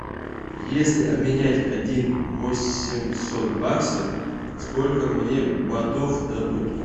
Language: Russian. если обменять один восемьсот баксов сколько мне батов дадут